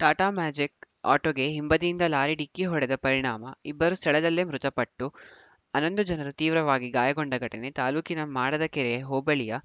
Tata magic ಆಟೋಗೆ ಹಿಂಬದಿಯಿಂದ lorry ಡಿಕ್ಕಿ ಹೊಡೆದ ಪರಿಣಾಮ ಇಬ್ಬರು ಸ್ಥಳದಲ್ಲೇ ಮೃತಪಟ್ಟು ಹನ್ನೊಂದು ಜನರು ತೀವ್ರವಾಗಿ ಗಾಯಗೊಂಡ ಘಟನೆ ತಾಲೂಕಿನ ಮಾಡದಕೆರೆ ಹೋಬಳಿಯ